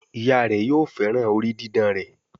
Ìyá rẹ yóò féràn orí didán rẹ.